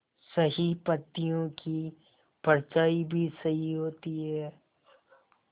सही पत्तियों की परछाईं भी सही होती है